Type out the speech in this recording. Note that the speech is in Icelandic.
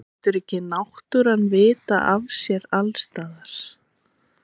Hugrún: En var erfitt að vakna í morgun?